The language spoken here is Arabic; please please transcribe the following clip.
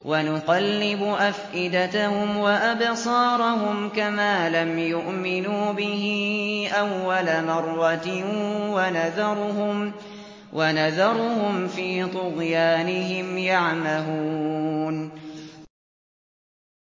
وَنُقَلِّبُ أَفْئِدَتَهُمْ وَأَبْصَارَهُمْ كَمَا لَمْ يُؤْمِنُوا بِهِ أَوَّلَ مَرَّةٍ وَنَذَرُهُمْ فِي طُغْيَانِهِمْ يَعْمَهُونَ